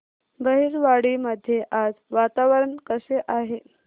बहिरवाडी मध्ये आज वातावरण कसे आहे